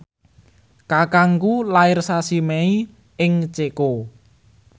kakangku lair sasi Mei ing Ceko